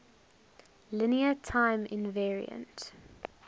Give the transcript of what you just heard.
linear time invariant